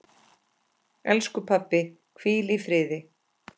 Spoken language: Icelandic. Elsku pabbi, hvíl í friði.